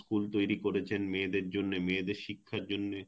তৈরি করেছেন মেয়েদের জন্যে মেয়েদের শিক্ষার জন্যে;